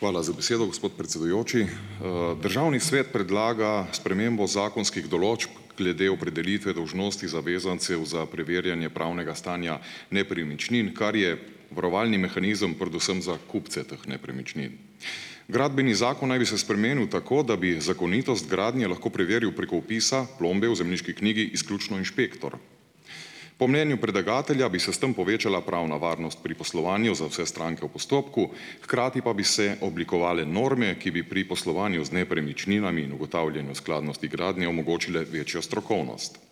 Hvala za besedo, gospod predsedujoči. Državni svet predlaga spremembo zakonskih določb glede opredelitve dolžnosti zavezancev za preverjanje pravnega stanja nepremičnin, kar je varovalni mehanizem predvsem za kupce teh nepremičnin. Gradbeni zakon naj bi se spremenil tako, da bi zakonitost gradnje lahko preveril preko vpisa plombe v zemljiški knjigi izključno inšpektor. Po mnenju predlagatelja bi se s tam povečala pravna varnost pri poslovanju za vse stranke v postopku, hkrati pa bi se oblikovale norme, ki bi pri poslovanju z nepremičninami in ugotavljanju skladnosti gradnje omogočile večjo strokovnost.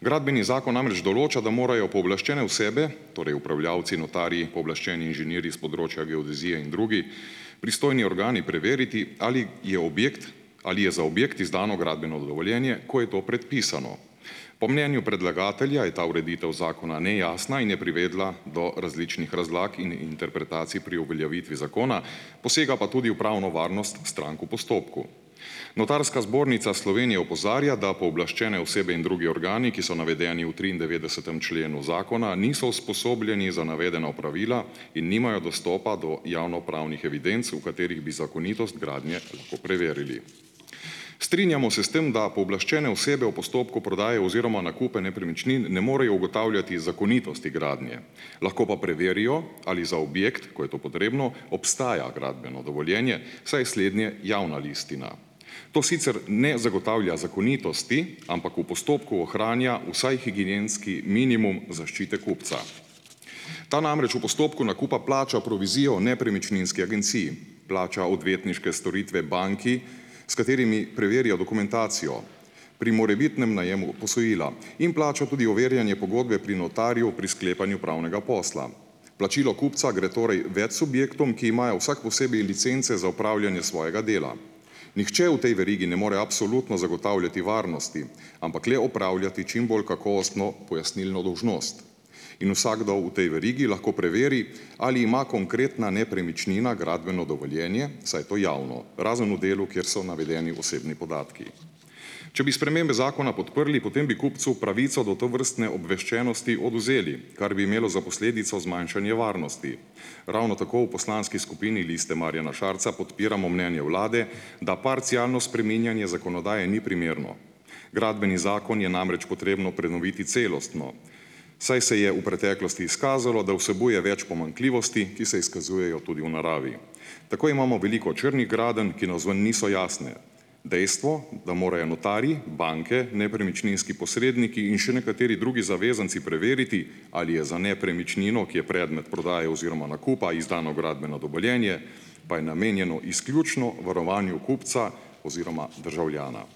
Gradbeni zakon namreč določa, da morajo pooblaščene osebe, torej upravljavci, notarji, pooblaščeni inženirji s področja geodezije in drugi pristojni organi preveriti, ali je objekt ali je za objekt izdano gradbeno dovoljenje, ko je to predpisano. Po mnenju predlagatelja je ta ureditev zakona nejasna in je privedla do različnih razlag in interpretacij pri uveljavitvi zakona, posega pa tudi v pravno varnost strank v postopku. Notarska zbornica Slovenije opozarja, da pooblaščene osebe in drugi organi, ki so navedeni v triindevetdesetem členu zakona, niso usposobljeni za navedena opravila in nimajo dostopa do javnopravnih evidenc, v katerih bi zakonitost gradnje lahko preverili. Strinjamo se s tem, da pooblaščene osebe v postopku prodaje oziroma nakupe nepremičnin ne morejo ugotavljati zakonitosti gradnje, lahko pa preverijo, ali za objekt, ko je to potrebno, obstaja gradbeno dovoljenje, saj je slednje javna listina. To sicer ne zagotavlja zakonitosti, ampak v postopku ohranja vsaj higienski minimum zaščite kupca. Ta namreč v postopku nakupa plača provizijo nepremičninski agenciji, plača odvetniške storitve banki, s katerimi preverja dokumentacijo pri morebitnem najemu posojila, in plača tudi overjanje pogodbe pri notarju pri sklepanju pravnega posla. Plačilo kupca gre torej več subjektom, ki imajo vsak posebej licence za opravljanje svojega dela. Nihče v tej verigi ne more absolutno zagotavljati varnosti, ampak le opravljati čim bolj kakovostno pojasnilno dolžnost. In vsakdo v tej verigi lahko preveri, ali ima konkretna nepremičnina gradbeno dovoljenje, saj je to javno, razen v delu, kjer so navedeni osebni podatki. Če bi spremembe zakona podprli, potem bi kupcu pravico do tovrstne obveščenosti odvzeli, kar bi imelo za posledico zmanjšanje varnosti. Ravno tako v poslanski skupini Liste Marjana Šarca podpiramo mnenje vlade, da parcialno spreminjanje zakonodaje ni primerno. Gradbeni zakon je namreč potrebno prenoviti celostno, saj se je v preteklosti izkazalo, da vsebuje več pomanjkljivosti, ki se izkazujejo tudi v naravi. Tako imamo veliko črnih gradenj, ki navzven niso jasne. Dejstvo, da morajo notarji, banke, nepremičninski posredniki in še nekateri drugi zavezanci preveriti, ali je za nepremičnino, ki je predmet prodaje oziroma nakupa, izdano gradbeno dovoljenje, pa je namenjeno izključno varovanju kupca oziroma državljana.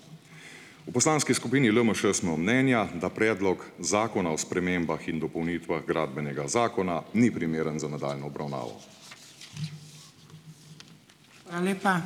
V poslanski skupini LMŠ smo mnenja, da Predlok zakona o spremembah in dopolnitvah Gradbenega zakona ni primeren za nadaljnjo obravnavo.